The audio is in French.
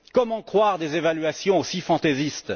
Comment croire des évaluations aussi fantaisistes?